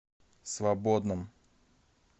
свободном